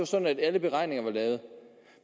sådan alle beregninger var lavet